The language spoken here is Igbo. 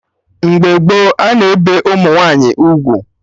Mgbe gboo, a na-ebe ụmụ nwaanyị ugwu